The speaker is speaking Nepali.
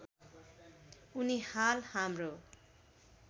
उनी हाल हाम्रो